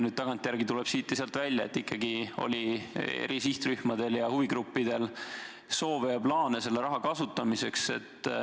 Nüüd tagantjärele aga tuleb siit ja sealt välja, et ikkagi oli eri sihtrühmadel ja huvigruppidel soove ja plaane selle raha kasutamiseks.